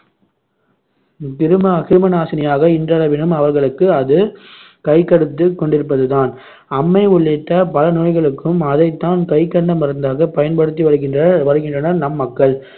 கிருமா~ கிருமிநாசினியாக இன்றளவிலும் அவர்களுக்கு அது கைகொடுத்துக் கொண்டிருப்பதுதான். அம்மை உள்ளிட்ட பலநோய்களுக்கும் அதைத்தான் கைகண்ட மருந்தாக பயன்படுத்தி வருகின்றனர் வருகின்றனர் நம் மக்கள்